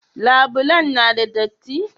Labulen na da datti?